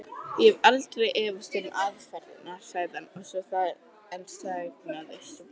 Ég hef aldrei efast um aðferðirnar. sagði hann en þagnaði svo.